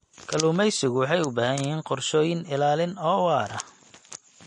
Kalluumaysigu waxay u baahan yihiin qorshooyin ilaalin oo waara.